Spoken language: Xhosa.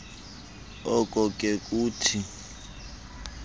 oko ke kukuthi